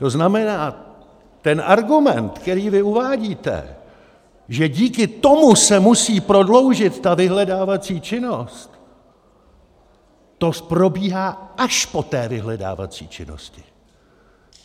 To znamená, ten argument, který vy uvádíte, že díky tomu se musí prodloužit ta vyhledávací činnost, to probíhá až po té vyhledávací činnosti.